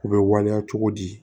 U bɛ waleya cogo di